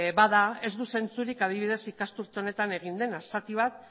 bada ez du zentzurik adibidez ikasturte honetan egin dena zati bat